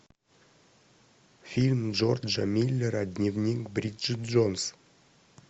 фильм джорджа миллера дневник бриджет джонс